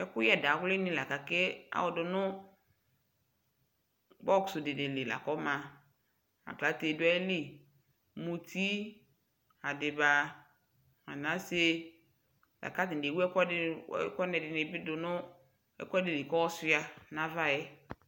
ɛkʋyɛ dawli ni lakʋ akɛ ɔdʋnʋ box dini li lakʋ ɔma, aklatɛ dʋ ayili, mʋti, adiba nʋ anasɛ, lakʋ atani ɛwʋ ɛkʋdini bi dʋnʋ ɛkʋɛɛ likʋ ɔsʋa nʋ aɣaɛ